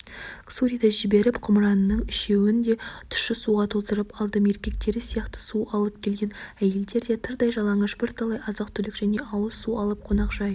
ксуриді жіберіп құмыраның үшеуін де тұщы суға толтырып алдым еркектері сияқты су алып келген әйелдер де тырдай жалаңаш бірталай азық-түлік және ауыз су алып қонақжай